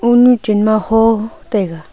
oo nyu chen ma hoo taiga.